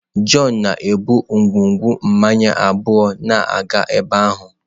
John na-ebu ngwugwu mmanya abụọ na-aga ebe ahụ.